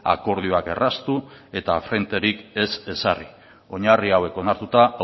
akordioak erraztu eta frenterik ez ezarri oinarri hauek onartuta